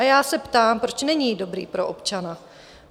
A já se ptám: Proč není dobrý pro občana?